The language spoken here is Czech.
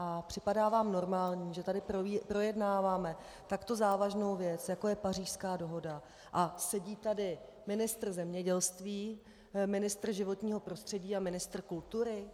A připadá vám normální, že tady projednáváme takto závažnou věc, jako je Pařížská dohoda, a sedí tady ministr zemědělství, ministr životního prostředí a ministr kultury?